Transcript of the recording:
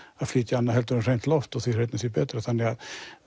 flytja annað heldur en hreint loft því hreinna því betra þannig að